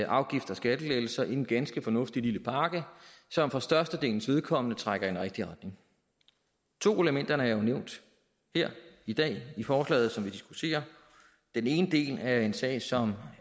afgifts og skattelettelser en ganske fornuftig lille pakke som for størstedelens vedkommende trækker i en rigtig retning to af elementerne er jo nævnt her i dag i forslaget som vi diskuterer den ene del er en sag som